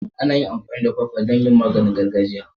Ana amfani da kwakwa don yin maganin gargajiya.